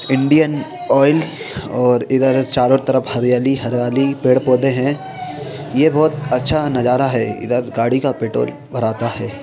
Indian Oil और इधर चारों तरफ हरियाली ही हरियाली पेड़-पौधे हैं ये बहुत अच्छा नजारा है इधर गाड़ी का पेट्रोल भराता है।